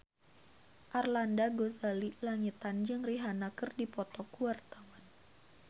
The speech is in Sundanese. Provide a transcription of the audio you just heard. Arlanda Ghazali Langitan jeung Rihanna keur dipoto ku wartawan